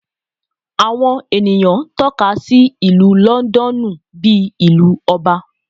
Awọn eniyan tọka si Ilu Lọndọnu bi Ilú Ọba